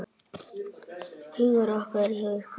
Hugur okkar er hjá ykkur.